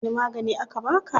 Wani magani aka baka?